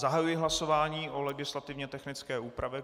Zahajuji hlasování o legislativně technické úpravě.